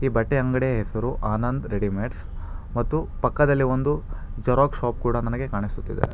ಈ ಬಟ್ಟೆ ಅಂಗಡಿಯ ಹೆಸರು ಆನಂದ್ ರೆಡಿಮೇಡ್ಸ್ ಮತ್ತು ಪಕ್ಕದಲ್ಲೇ ಒಂದು ಜೆರಾಕ್ಸ್ ಶಾಪ್ ಕೂಡ ನನಗೆ ಕಾಣಿಸುತ್ತಿದೆ.